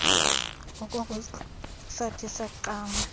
okoko sathi saqala